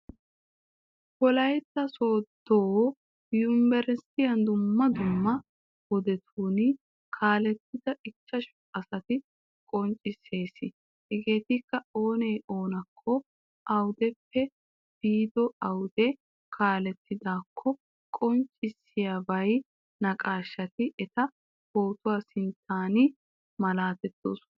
Wolaytta sooddo yumbberesttiya dumma dumma wodetuun kaalettida ichchashu asata qonccissees Hageeti Oona oonakko, awudeppe biido awude kaalettidaakkokka qoncvissiya naqaashshati eta pootuwa sinttan malaatoosona